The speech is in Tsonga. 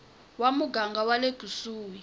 wa muganga wa le kusuhi